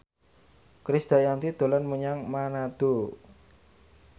Krisdayanti dolan menyang Manado